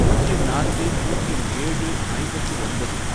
பூஜ்யம் நான்கு, பூஜ்யம் ஏழு, ஐம்பத்து ஒன்பது